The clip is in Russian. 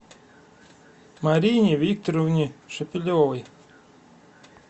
марине викторовне шепелевой